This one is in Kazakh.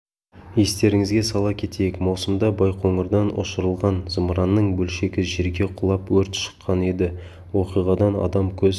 естеріңізге сала кетейік маусымда байқоңырдан ұшырылған зымыранның бөлшегі жерге құлап өрт шыққан еді оқиғадан адам көз